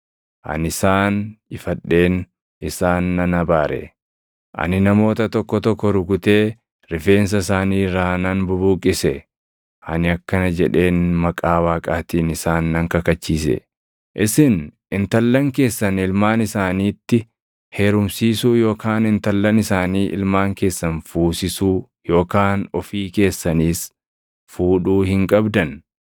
Ani isaan ifadheen isaan nan abaare. Ani namoota tokko tokko rukutee rifeensa isaanii irraa nan bubuqqise. Ani akkana jedheen maqaa Waaqaatiin isaan nan kakachiise: “Isin intallan keessan ilmaan isaaniitti heerumsiisuu yookaan intallan isaanii ilmaan keessan fuusisuu yookaan ofii keessaniis fuudhuu hin qabdan.